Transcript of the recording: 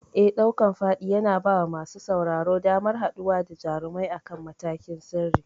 Eh, ɗaukan faɗi yana bawa masu sauraro damar haɗuwa da jarumai akan matakin sirri.